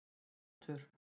Rútur